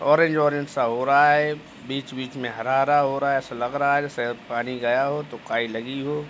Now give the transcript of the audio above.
Orange orange सा हो रहा है। बीच-बीच में हरा-हरा हो रहा है। ऐसा लग रहा है जैसे पानी गया है तो काई लगी हो।